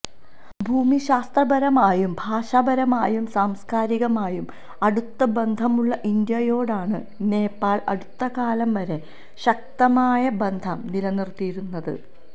ഭൂമിശാസ്ത്രപരമായും ഭാഷാപരമായും സാംസ്കാരികമായും അടുത്ത ബന്ധമുള്ള ഇന്ത്യയോടാണ് നേപ്പാൾ അടുത്തകാലം വരെ ശക്തമായ ബന്ധം നിലനിർത്തിയിരുന്നത്